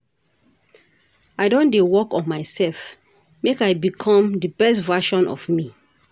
I don dey work on myself, make I become di best version of me.